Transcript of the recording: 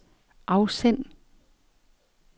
afsend